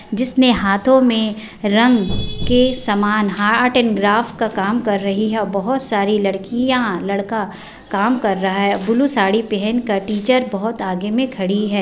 जिसने हाथो में रंग के सामान आर्ट एंड क्राफ्ट का काम कर रही है और बहुत सारे लड़कियाँ लड़का काम कर रहा है ब्लू सारी पहनकर टीचर बहुत आगे में खड़ी है।